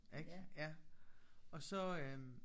Ik ja og så øh